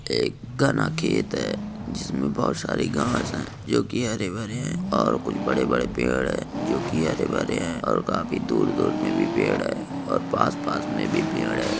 एक घाना खेत है जिसमें बहुत सारी घास है जो की हरे-भरे है ओर कुछ बड़े बड़े पेड़ है जो की हरे-भरे है ओर खाफी दूर-दूर में भी पेड़ है ओर पास-पास में भी पेड़ हैं।